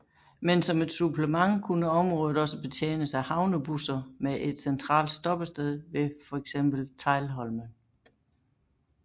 Men som et supplement kunne området også betjenes af havnebusser med et centralt stoppested ved for eksempel Teglholmen